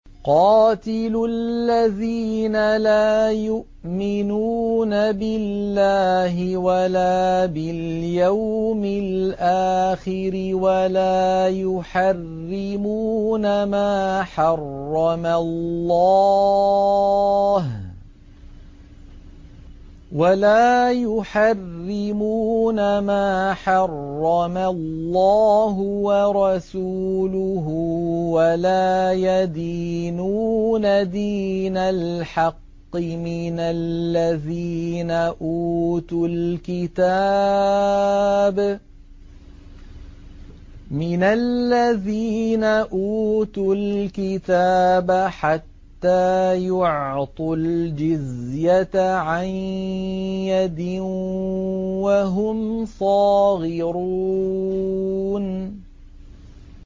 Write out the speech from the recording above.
قَاتِلُوا الَّذِينَ لَا يُؤْمِنُونَ بِاللَّهِ وَلَا بِالْيَوْمِ الْآخِرِ وَلَا يُحَرِّمُونَ مَا حَرَّمَ اللَّهُ وَرَسُولُهُ وَلَا يَدِينُونَ دِينَ الْحَقِّ مِنَ الَّذِينَ أُوتُوا الْكِتَابَ حَتَّىٰ يُعْطُوا الْجِزْيَةَ عَن يَدٍ وَهُمْ صَاغِرُونَ